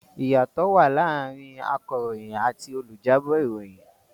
Ìyàtọ̀ wà láàrin akàròyìn àti olùjábọ̀ ìròyìn.